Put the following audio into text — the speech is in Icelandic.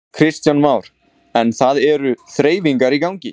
Kristján Már: En það eru þreifingar í gangi?